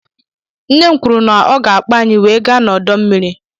Nne m kwụrụ na ọ ga-akpo anyị wee gaa n'odo mmiri.